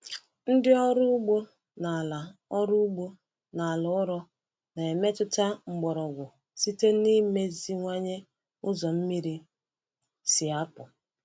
Ndị ọrụ ugbo n’ala ọrụ ugbo n’ala ụrọ na-emetụta mgbọrọgwụ site n’ịmeziwanye ụzọ mmiri si apụ.